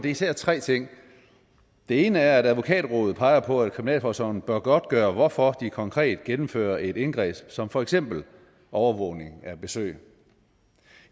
især tre ting den ene er at advokatrådet peger på at kriminalforsorgen bør godtgøre hvorfor de konkret gennemfører et indgreb som for eksempel overvågning af besøg